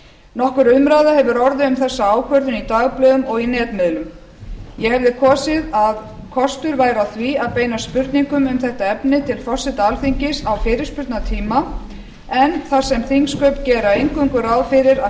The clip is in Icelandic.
nokkur umræða hefur orðið um þessa ákvörðun í dagblöðum og í netmiðlum ég hefði kosið að kostur væri á því að beina spurningum um þetta efni til forseta alþingis á fyrirspurnatíma en þar sem þingsköp gera eingöngu ráð fyrir að